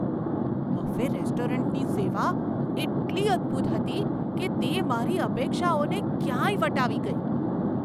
Buffet રેસ્ટોરન્ટની સેવા એટલી અદ્ભુત હતી કે તે મારી અપેક્ષાઓને ક્યાંય વટાવી ગઈ!